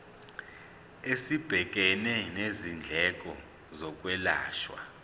esibhekene nezindleko zokwelashwa